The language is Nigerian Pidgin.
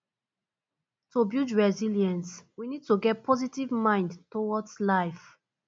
to build resilience we need to get positive mind towards life